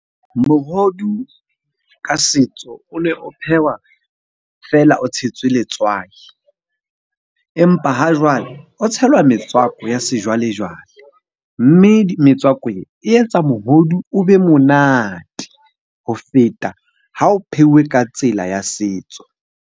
Mohodu ka setso o ne o phehwa feela o tshetswe letswai, empa hajwale o tshelwa metswako ya sejwale-jwale. Mme metswako e, e etsa mohodu o be monate ho feta ha o pheuwe ka tsela ya setso.